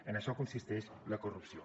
en això consisteix la corrupció